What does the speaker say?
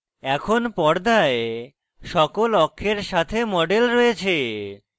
এখন পর্দায় সকল অক্ষের সাথে model রয়েছে